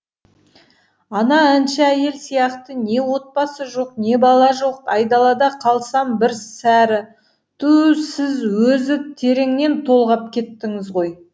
ана әнші әйел сияқты не отбасы жоқ не бала жоқ айдалада қалсам бір сәрі туу сіз өзі тереңнен толғап кеттіңіз ғой